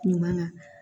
Ɲuman na